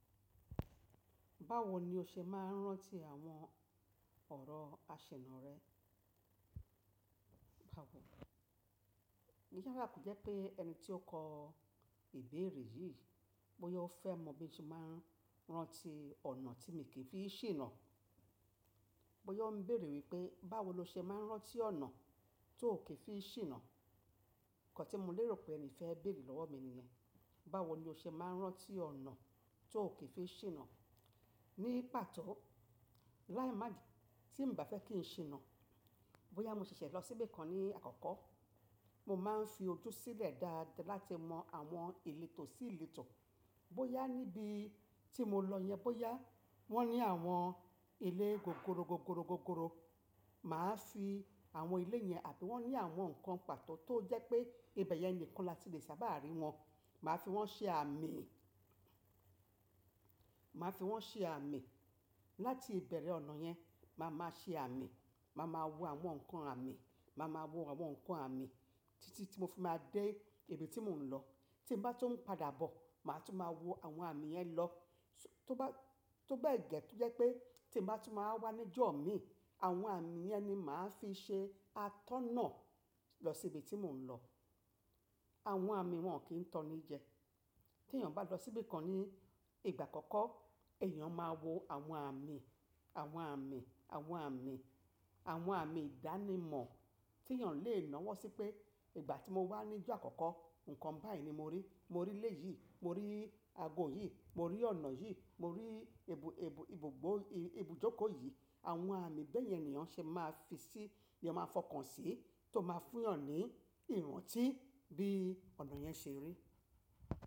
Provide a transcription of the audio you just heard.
Báwo ni o ṣe máa ń rántí àwọn ọ̀rọ̀ àṣìná rẹ? Báwo? Iyá rà kò jẹ́ pé ẹni tí ó kọ ìbéèrè yìí, bóyá ó fẹ́ mọ̀ bí mo ṣe máa ń rántí ọ̀nà tí mo kì í fi ṣìnà. Bóyá ó ń béèrè wípé, báwo lo ṣe máa ń rántí ọ̀nà tó kì í fi ṣìnà? Nǹkan tí mo lérò pé ẹni fẹ́ béèrè lọ́wọ́ mi niyẹn. Báwo ni o ṣe máa ń rántí ọ̀nà tó kì í fi ṣìnà? Ní pàtó láì má tí mo bà fẹ́ kí n ṣìnà, bóyá mo ṣẹ̀ṣẹ̀ lọ sí ibi kan ní àkọ́kọ́, mo máa ń fi ojú sílẹ̀ dáadáa láti mọ àwọn ìletò sí ìletò. Bóyá níbi tí mo lọ yẹn, bóyá wọ́n ní àwọn ilé gogoro, gogoro, gogoro, mà á fi àwọn ilé yẹn, àbí wọ́n ní àwọn ǹkan pàtó tó jẹ́ pé ibẹ̀ yẹn nìkan la ti lè sábà rí wọn, mà á fi wọ́n ṣe àmì. Mà á fi wọ́n ṣe àmì. Láti ìbẹ̀rẹ̀ ọ̀nà yẹn, mà á máa ṣe àmì, mà á máa wo àwọn ǹkan àmì, mà á máa wo àwọn ǹkan àmì títí tí mo fi máa dé ibi tí mò ń lọ. Tí mo bá tún padà bọ̀, mà á tún máa wo àwọn àmì yẹn lọ. Tóbẹ́ẹ̀ gẹ́, tó jẹ́ pé tí n bá tún ma wáa wà níjọ̀ mi, àwọn àmì yẹn ni mà á fi ṣe atọ́nà lọ sí ibi tí mò ń lọ. Àwọn àmì wọn kì í tọ́ni jẹ. Tí èèyàn bá lọ sí ibi kan ní ìgbà àkọ́kọ́, èèyàn máa wo àwọn àmì, àwọn àmì, àwọn àmì, àwọn àmì ìdánimọ̀ tí èèyàn lè náwọ́ sí pé ìgbà tí mo wà níjọ́ àkọ́kọ́, ǹkan báyìí ni mo rí. Mo rí ilé yìí, mo rí ago yìí, mo rí ọ̀nà yìí, mo rí ebu-ebu, ibùgbó, ibùjókòó yìí. Àwọn àmì bẹ́ẹ̀ yẹn ni èèyàn ṣe máa fi sí, ni ẹ máa fọkàn sí tó máa fún èèyàn ní ìrántí bí ọ̀nà yẹn ṣe rí.